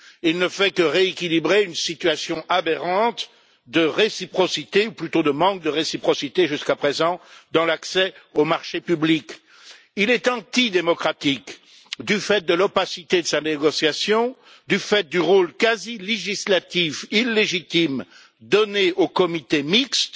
Il ne fait que rééquilibrer une situation aberrante de réciprocité ou plutôt de manque de réciprocité, jusqu'à présent, dans l'accès aux marchés publics. Il est antidémocratique du fait de l'opacité de sa négociation et du rôle quasi législatif illégitime donné au comité mixte,